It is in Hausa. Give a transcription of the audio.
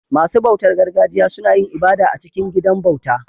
Masu bautar gargajiya suna yin ibada a cikin gidan bauta